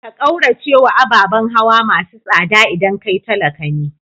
Ka kauracewa ababan hawa masu tsada idan kai talaka ne.